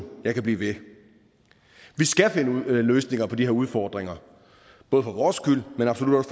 jeg kan blive ved vi skal finde løsninger på de her udfordringer både for vores skyld men absolut